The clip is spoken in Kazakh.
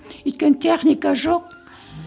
өйткені техника жоқ